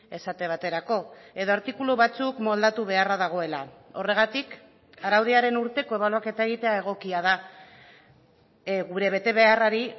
esate baterako edo artikulu batzuk moldatu beharra dagoela horregatik araudiaren urteko ebaluaketa egitea egokia da gure betebeharrari